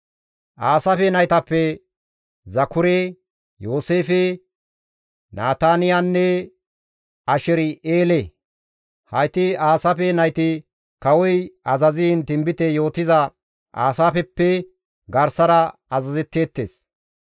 Aasaafe naytappe Zakure, Yooseefe, Nataniyanne Asher7eele; hayti Aasaafe nayti kawoy azaziin tinbite yootiza Aasaafeppe garsara azazetteettes.